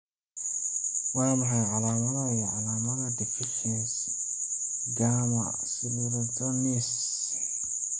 Waa maxay calaamadaha iyo calaamadaha deficiency Gamma cystathionase?